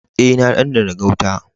Eh, na dandana gauta.